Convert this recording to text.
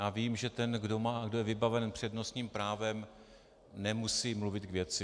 Já vím, že ten, kdo je vybaven přednostním právem, nemusí mluvit k věci.